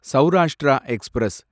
Saurashtra express